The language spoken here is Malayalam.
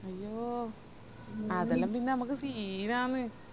അയ്യോ അതെല്ലാം പിന്നെ മ്മക് scene ആന്ന്